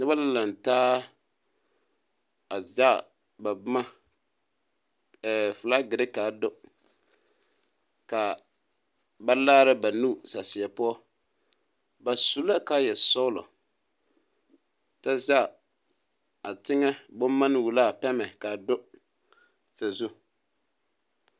Noba la laŋtaa a zɛage ba boma ɛɛɛ filaagire ka a do ka ba laara ba nuuri saseɛ poɔ ba su la kaayɛsɔglɔ kyɛ zage a teŋɛ bomanne wullo la a pɛmɛ ka a do.